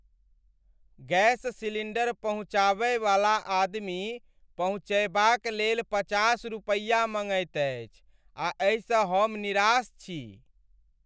Gas cylinder पहुँचाबयवाला आदमी पहुँचयबाक लेल पचास रुपैया मँगैत अछि आ एहिसँ हम निराश छी।